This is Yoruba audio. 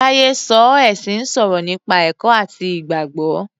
Táyé sọ oé ẹ̀sìn ń sọ̀rọ̀ nípa ẹ̀kọ́ àti Ìgbàgbọ́.